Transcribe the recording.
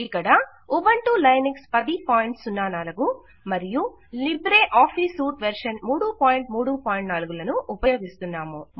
ఇక్కడ Ubuntu Linux 1004 మరియు Libre Office suite version 334 లను ఉపయోగిస్తున్నాము